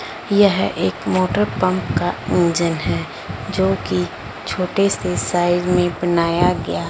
यह एक motor pump का इंजन है जोकि छोटे से साइज में बनाया गया--